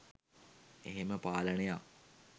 එහෙම පාලනයක්